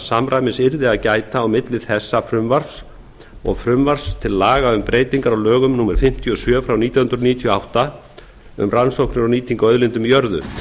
samræmis yrði að gæta á milli þessa frumvarps til laga um breytingar á lögum númer fimmtíu og sjö nítján hundruð níutíu og átta um rannsóknir og nýtingu á auðlindum í jörðu